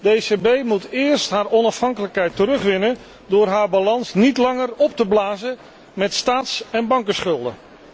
De ECB moet eerst haar onafhankelijkheid terugwinnen door haar balans niet langer op te blazen met staats en bankenschulden.